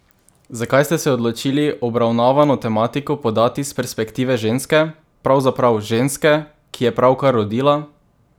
Zakaj ste e odločili, obravnavano tematiko podati s perspektive ženske, pravzaprav ženske, ki je pravkar rodila?